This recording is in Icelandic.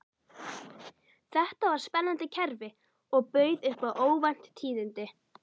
Þetta var spennandi kerfi og bauð upp á óvænt tíðindi.